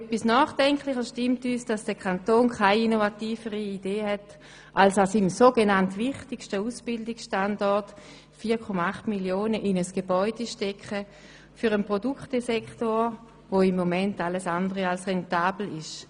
Nachdenklich stimmt uns hingegen, dass der Kanton keine innovativere Lösung hat, als an seinem so genannt wichtigsten Ausbildungsstandort 4,8 Mio. Franken in ein Gebäude für einen Produktsektor zu stecken, der im Moment alles andere als rentabel ist.